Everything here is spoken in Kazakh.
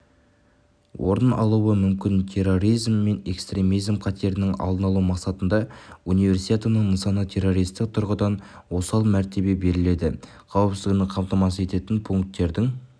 орын алуы мүмкін терроризм мен экстремизм қатерінің алдын алу мақсатында универсиаданың нысанына террористік тұрғыдан осал мәртебе берілді қауіпсіздікті қамтамасыз ететін пунктердің